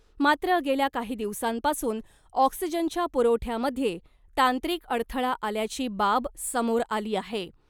मात्र , गेल्या काही दिवसांपासून ऑक्सिजनच्या पुरवठ्यामध्ये तांत्रिक अडथळा आल्याची बाब समोर आली आहे .